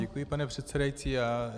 Děkuji, paní předsedající.